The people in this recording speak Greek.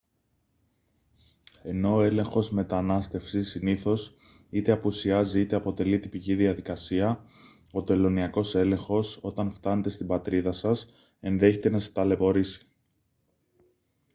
ενώ ο έλεγχος μετανάστευσης συνήθως είτε απουσιάζει είτε αποτελεί τυπική διαδικασία ο τελωνειακός έλεγχος όταν φτάνετε στην πατρίδα σας ενδέχεται να σας ταλαιπωρήσει